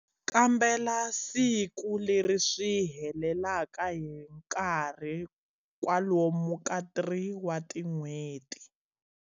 Kambela siku leri swi helelaka hi nkarhi kwalomu ka 3 wa tin'hweti.